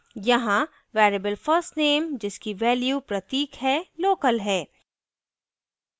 यहाँ variable first _ name जिसकी value pratik है local है